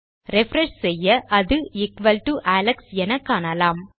refresh செய்ய அது equal to Alex என காணலாம்